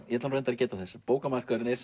ég ætla nú reyndar að geta þess að bókamarkaðurinn er